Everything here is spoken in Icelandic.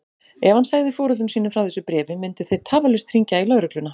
Ef hann segði foreldrum sínum frá þessu bréfi myndu þeir tafarlaust hringja í lögregluna.